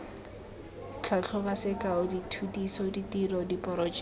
tlhatlhobo sekao dithutiso ditiro diporojeke